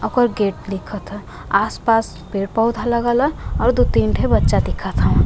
ओकर गेट दिखत ह। आस पास पेड़ पौधा लागल ह और दू तीन ठे बच्चा दिखत ह।